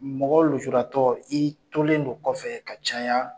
Mɔgɔ lujuratɔ i tolen don kɔfɛ ka caya.